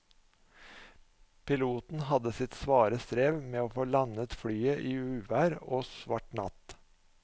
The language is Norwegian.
Piloten hadde sitt svare strev med å få landet flyet i uvær og svart natt.